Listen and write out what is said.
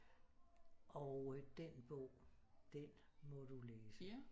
Og øh den bog den må du læse